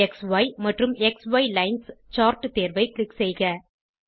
க்ஸி மற்றும் க்ஸி lines chart தேர்வை க்ளிக் செய்வோம்